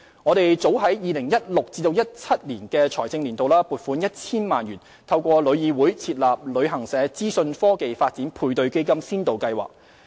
我們早於 2016-2017 財政年度已撥款 1,000 萬元，透過旅議會設立"旅行社資訊科技發展配對基金先導計劃"。